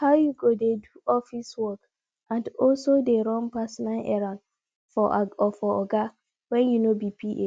how you go dey do office work and also dey run personal errand for oga when you no be pa